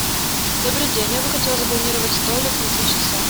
добрый день я бы хотела забронировать столик на три часа